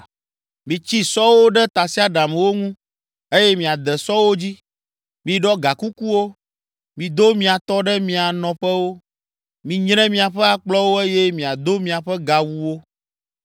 Mitsi sɔwo ɖe tasiaɖamwo ŋu eye miade sɔwo dzi! Miɖɔ gakukuwo, mido mia tɔ ɖe mia nɔƒewo! Minyre miaƒe akplɔwo eye miado miaƒe gawuwo!